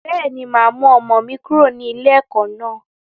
Bẹ́ẹ̀ni, máa mú ọmọ mi kúrò ní ilé ẹ̀kọ́ naa